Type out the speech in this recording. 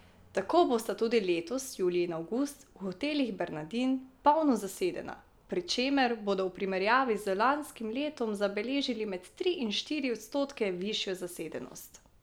Tako bosta tudi letos julij in avgust v Hotelih Bernardin polno zasedena, pri čemer bodo v primerjavi z lanskim letom zabeležili med tri in štiri odstotke višjo zasedenost.